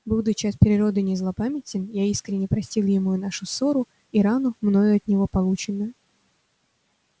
будучи от природы не злопамятен я искренно простил ему и нашу ссору и рану мною от него полученную